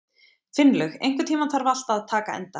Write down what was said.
Finnlaug, einhvern tímann þarf allt að taka enda.